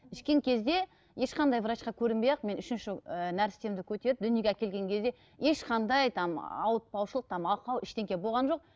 ішкен кезде ешқандай врачқа көрінбей ақ мен үшінші ііі нәрестемді көтеріп дүниеге әкелген кезде ешқандай там ауыртпаушылық там ақау болған жоқ